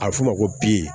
A bɛ f'o ma ko bi